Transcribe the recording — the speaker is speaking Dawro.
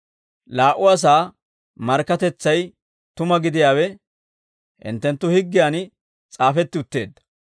Laa"u asaa markkatetsay tuma gidiyaawe hinttenttu higgiyaan s'aafetti utteedda.